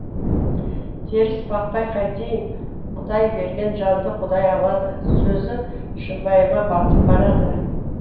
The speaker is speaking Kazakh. теріс бақпай қайтейін құдай берген жанды құдай алады сөзі шымбайыма батып барады